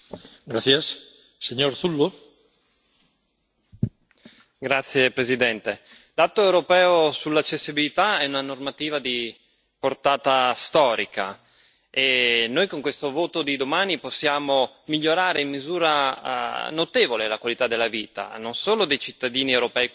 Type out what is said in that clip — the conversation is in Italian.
Signor Presidente, onorevoli colleghi, l'atto europeo sull'accessibilità è una normativa di portata storica e noi, con il voto di domani, possiamo migliorare in misura notevole la qualità della vita, non solo dei cittadini europei con disabilità,